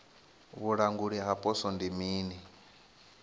vhulanguli ha poswo ndi mini